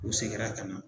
U seginna ka na